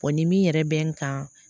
ni min yɛrɛ bɛ n kan